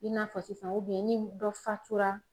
I n'a fɔ sisan ni dɔ fatura